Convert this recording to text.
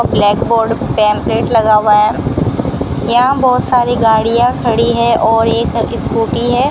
Blackboard pamphlet लगा हुआ है यहां बहुत सारी गाड़ियां खड़ी है और एक स्कूटी है।